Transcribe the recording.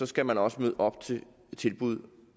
skal man også møde op til tilbud